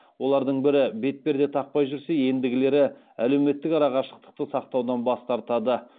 олардың бірі бетперде тақпай жүрсе ендігілері әлеуметтік арақашықтықты сақтаудан бас тартады